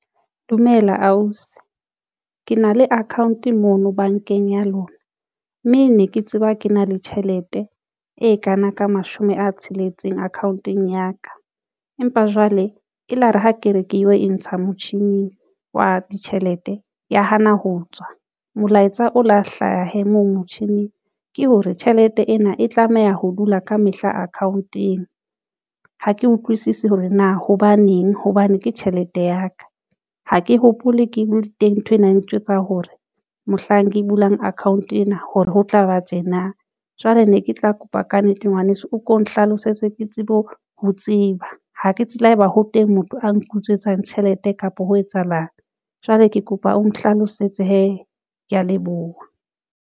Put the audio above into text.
Dumela ausi ke na le account mono bankeng ya lona mme ne ke tseba ke na le tjhelete e kana ka mashome a tsheletseng account ong ya ka. Empa jwale elare ha ke re ke yo e ntsha motjhini wa ditjhelete ya hana ho tswa molaetsa o lo hlahe moo motjhining ke hore tjhelete ena e tlameha ho dula ka mehla account-eng. Ha ke utlwisisi hore na hobaneng hobane ke tjhelete ya ka Ha ke hopole ke bule teng nthwena ntjwetsa hore mohlang ke bulang account ena. Hore ho tlaba tjena jwale ne ke tla kopa ka nnete. Ngwaneso o ko nhlalosetse ke tsebe ho tseba ho ke tsela e ba ho teng motho a nke utswetsa tjhelete kapa ho etsahalang jwale ke kopa o nhlalosetse hee. Ke ya leboha.